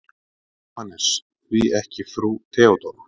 JÓHANNES: Því ekki frú Theodóra?